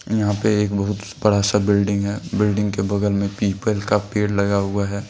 यहां पे एक बहुत बड़ा सा बिल्डिंग है। बिल्डिंग के बगल में पीपल का पेड़ लगा हुआ है।